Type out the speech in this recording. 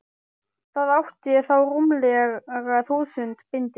Það átti þá rúmlega þúsund bindi.